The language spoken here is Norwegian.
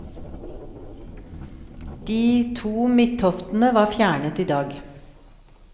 De to midttoftene var fjernet i dag.